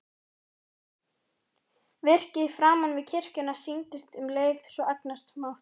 Virkið framan við kirkjuna sýndist um leið svo agnarsmátt.